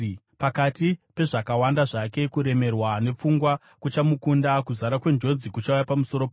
Pakati pezvakawanda zvake, kuremerwa nepfungwa kuchamukunda; kuzara kwenjodzi kuchauya pamusoro pake.